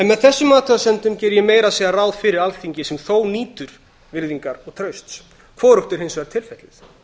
með þessum athugasemdum geri ég meira að segja ráð fyrir alþingi sem þó nýtur virðingar og trausts hvorugt er hins vegar tilfellið